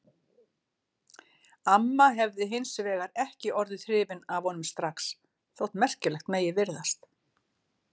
Amma hefði hins vegar ekki orðið hrifin af honum strax, Þótt merkilegt megi virðast